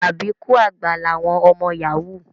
Àbíkú àgbà làwọn ọmọ Yahoo